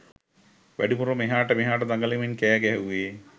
වැඩිපුරම එහාට මෙහාට දඟලමින් කෑගැහුවේ